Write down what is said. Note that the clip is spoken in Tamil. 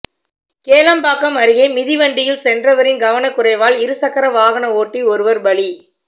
கேளம்பாக்கம் அருகே மிதிவண்டியில் சென்றவரின் கவனக்குறைவால் இருசக்கர வாகன ஓட்டி ஒருவர் பலி